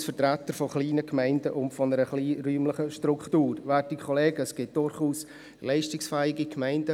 Es gibt durchaus auch kleine Gemeinden, die leistungsfähig sind, zum Beispiel 3376 Berken.